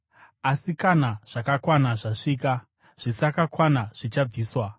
asi kana zvakakwana zvasvika, zvisakakwana zvichabviswa.